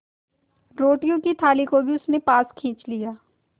रोटियों की थाली को भी उसने पास खींच लिया